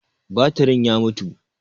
Batirin ya mutu.